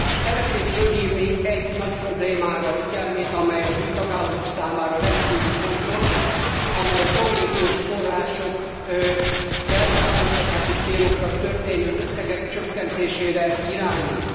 Szeretném fölhívni egy nagy problémára a figyelmét, amely az új tagállamok számára rendkívül fontos, amely a kohéziós források felzárkóztatási célokra történő összegeinek csökkentésére irányul.